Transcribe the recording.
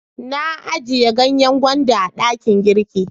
Na a jiya ganyen gwanda a dakin girki.